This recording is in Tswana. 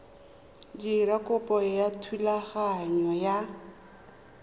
dira kopo ya thulaganyo ya